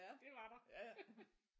Det var der